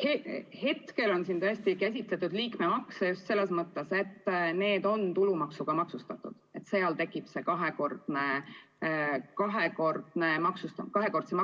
Praegu on siin tõesti käsitletud liikmemakse just selles mõttes, et need on tulumaksuga maksustatud ja tekib kahekordse